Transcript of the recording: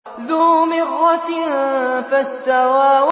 ذُو مِرَّةٍ فَاسْتَوَىٰ